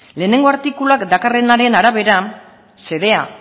lehenengo artikuluan dakarrenaren arabera xedea